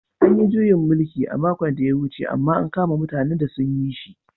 An yi juyin mulki a makon da ya wuce amma an kama mutanen da sun yi shi.